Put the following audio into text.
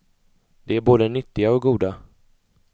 De är både nyttiga och goda.